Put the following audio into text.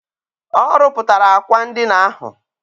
Ọ rụpụtara akwa ndina ahụ.